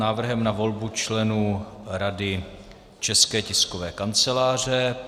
Návrh na volbu členů Rady České tiskové kanceláře